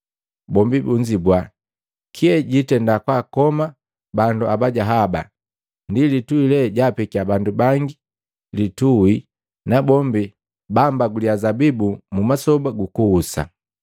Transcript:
Bombi bunzibua, “Kye jiitenda kwakoma bandu abaja haba, ni litui lee jaapekiya bandu bangi litui nabombi bambaguliya zabibu mu masoba gukuhusa.”